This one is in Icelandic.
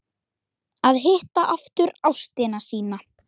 Að hitta aftur ástina sína